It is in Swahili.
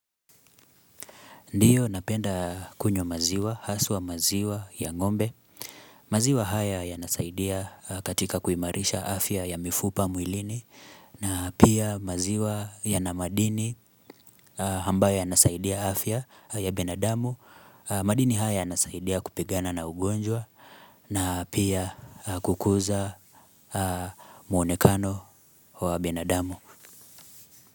Ndiyo napenda kunywa maziwa, haswa maziwa ya ngombe, maziwa haya ya nasaidia katika kuimarisha afya ya mifupa mwilini, na pia maziwa ya na madini ambayo yanasaidia afya ya binadamu, madini haya ya nasaidia kupigana na ugonjwa, na pia kukuza mwonekano wa binadamu.